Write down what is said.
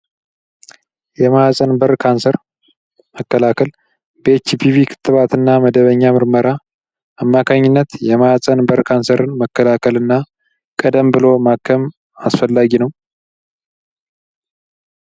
የማህፀን በር ካንሰር መከላከል በኤችቪቢ ክትባት እና መደበኛ ምርመራ አማካኝነት የማህፀን በር ካንሰርን መከላከል እና ቀደም ብሎ ማከም አስፈላጊ ነው።